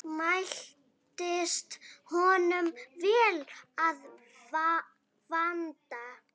Mæltist honum vel að vanda.